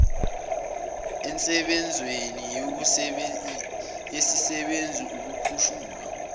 ensebenzweni yesisebenzi ukukhushulwa